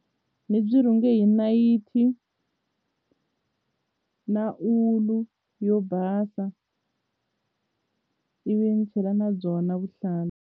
Ni byi rhinge hi nayiti na ulu yo basa ivi ni chela na byona vuhlalu.